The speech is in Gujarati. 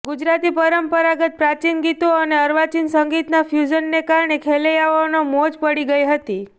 ગુજરાતી પરંપરાગત પ્રાચીન ગીતો અને અર્વાચીન સંગીતના ફ્યુઝનને કારણે ખેલૈયાઓનો મોજ પડી ગઈ છે